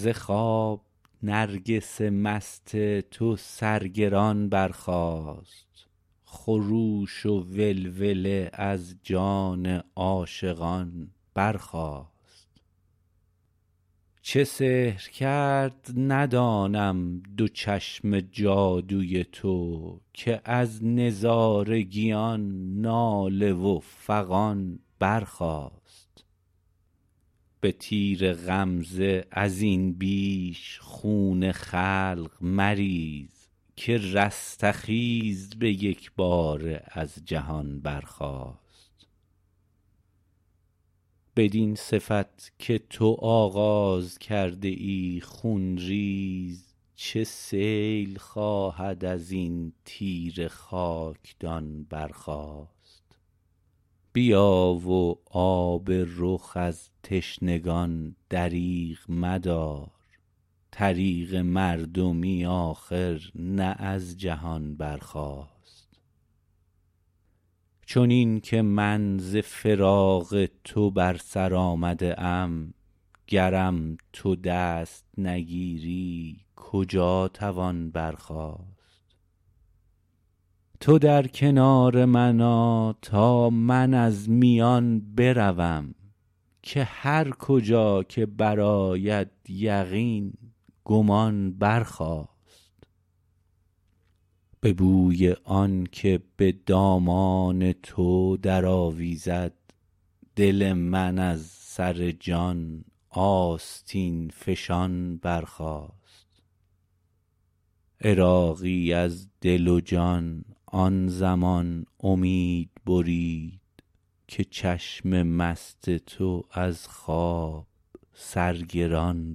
ز خواب نرگس مست تو سر گران برخاست خروش و ولوله از جان عاشقان برخاست چه سحر کرد ندانم دو چشم جادوی تو که از نظارگیان ناله و فغان برخاست به تیر غمزه ازین بیش خون خلق مریز که رستخیز به یکباره از جهان برخاست بدین صفت که تو آغاز کرده ای خونریز چه سیل خواهد ازین تیره خاکدان برخاست بیا و آب رخ از تشنگان دریغ مدار طریق مردمی آخر نه از جهان برخاست چنین که من ز فراق تو بر سر آمده ام گرم تو دست نگیری کجا توان برخاست تو در کنار من آ تا من از میان بروم که هر کجا که برآید یقین گمان برخاست به بوی آنکه به دامان تو درآویزد دل من از سر جان آستین فشان برخاست عراقی از دل و جان آن زمان امید برید که چشم مست تو از خواب سرگران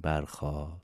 برخاست